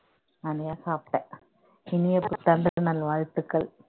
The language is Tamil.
சாப்பிட்டேன் இனிய புத்தாண்டு நல்வாழ்த்துக்கள்